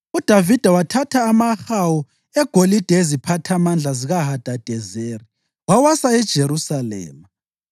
UDavida wathatha amahawu egolide eziphathamandla zikaHadadezeri wawasa eJerusalema.